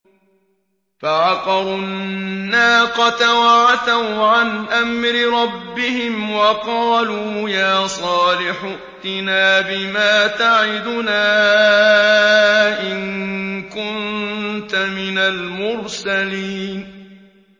فَعَقَرُوا النَّاقَةَ وَعَتَوْا عَنْ أَمْرِ رَبِّهِمْ وَقَالُوا يَا صَالِحُ ائْتِنَا بِمَا تَعِدُنَا إِن كُنتَ مِنَ الْمُرْسَلِينَ